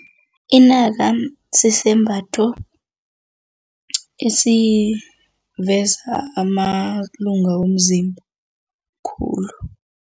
Inaka sisembatho esiveza amalunga womzimba khulu.